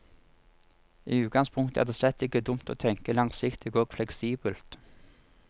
I utgangspunktet er det slett ikke dumt å tenke langsiktig og fleksibelt.